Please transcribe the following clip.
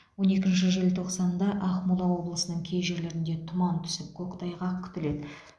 он екінші желтоқсанда ақмола облысының кей жерлерінде тұман түсіп көктайғақ күтіледі